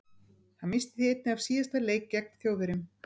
Hann missti því einnig af síðasta leik gegn Þjóðverjum.